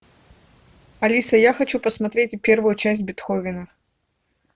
алиса я хочу посмотреть первую часть бетховена